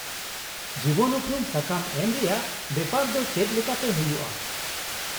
-ᱡᱤᱵᱚᱱ ᱩᱯᱨᱩᱢ ᱥᱟᱠᱟᱢ ᱮᱢ ᱨᱮᱭᱟᱜ ᱵᱮᱯᱟᱨ ᱫᱚ ᱪᱮᱫ ᱞᱮᱠᱟᱛᱮ ᱦᱩᱭᱩᱜᱼᱟ ?